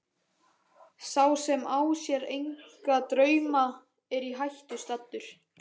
Sá sem á sér enga drauma er í hættu staddur.